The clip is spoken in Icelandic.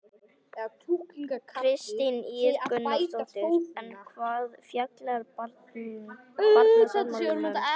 Kristín Ýr Gunnarsdóttir: En hvað fjallar barnasáttmálinn um?